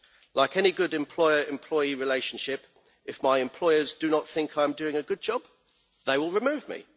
Like any good employer employee relationship, if my employers do not think I am doing a good job they will remove me.